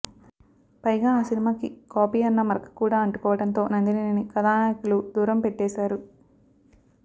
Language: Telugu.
పైగా ఆ సినిమాకి కాపీ అన్న మరక కూడా అంటుకోవడంతో నందినిని కథానాయకులు దూరం పెట్టేశారు